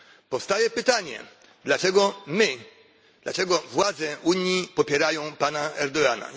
Powstaje pytanie, dlaczego my, dlaczego władze Unii popierają pana Erdogana?